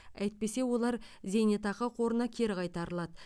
әйтпесе олар зейнетақы қорына кері қайтарылады